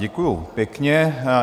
Děkuji pěkně.